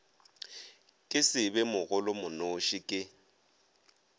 ke se be mogolomonoši ke